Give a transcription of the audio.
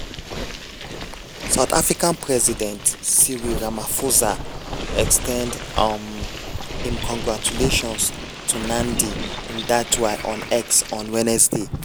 south africa president cyril ramaphosa ex ten d um im congratulations to nandi-ndaitwah on x on wednesday.